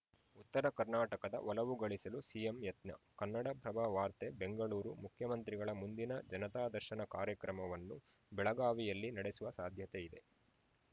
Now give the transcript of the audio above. ಉತ್ತರ ಕರ್ನಾಟಕದ ಒಲವು ಗಳಿಸಲು ಸಿಎಂ ಯತ್ನ ಕನ್ನಡಪ್ರಭ ವಾರ್ತೆ ಬೆಂಗಳೂರು ಮುಖ್ಯಮಂತ್ರಿಗಳ ಮುಂದಿನ ಜನತಾ ದರ್ಶನ ಕಾರ್ಯಕ್ರಮವನ್ನು ಬೆಳಗಾವಿಯಲ್ಲಿ ನಡೆಸುವ ಸಾಧ್ಯತೆಯಿದೆ